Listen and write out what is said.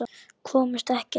Komust ekkert.